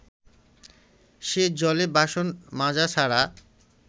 সে জলে বাসন মাজা ছাড়া